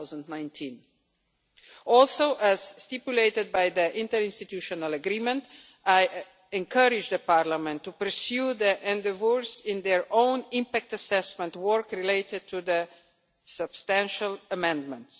2019. Also, as stipulated by the interinstitutional agreement, I encourage Parliament to pursue the endeavours in their own impact assessment work related to the substantial amendments.